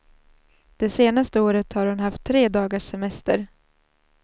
Det senaste året har hon haft tre dagars semester.